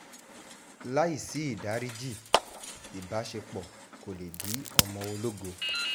láì sí ìdáríjì ìbáṣepọ̀ kó lè bí ọmọ ológo